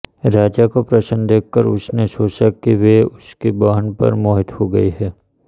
राजा को प्रसन्न देखकर उसने सोचा कि वे उसकी बहन पर मोहित हो गए हैं